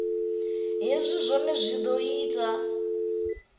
hezwi zwohe zwi o ita